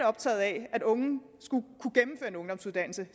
optaget af at unge skulle kunne gennemføre en ungdomsuddannelse